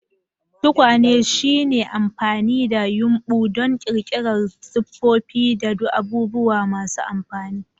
Tukwane shine amfani da yumbu don ƙirƙirar siffofi da abubuwa masu amfani.